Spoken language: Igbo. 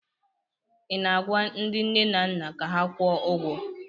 ị na-agwa ndị nne na nna ka ha kwụọ ụgwọ?